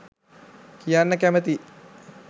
කියන්න කැමතියි